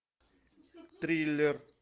триллер